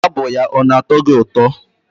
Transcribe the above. Abụ ya ọ na-atọ gị ụtọ?